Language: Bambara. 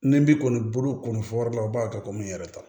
Ni n bi kɔni bolo kɔni fɔr'aw la o b'a kɛ komi n yɛrɛ ta